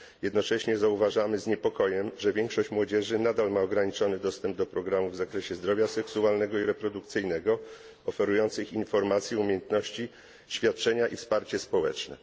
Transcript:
Jednocześnie zauważamy z niepokojem, że większość młodzieży nadal ma ograniczony dostęp do programów w zakresie zdrowia seksualnego i reprodukcyjnego, oferujących informacje, umiejętności, świadczenia i wsparcie społeczne.